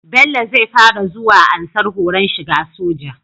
Bello zai fara zuwa ansar horon shiga soja